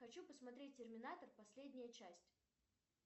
хочу посмотреть терминатор последняя часть